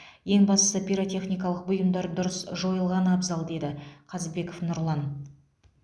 ең бастысы пиротехникалық бұйымдар дұрыс жойылғаны абзал деді қазбеков нұрлан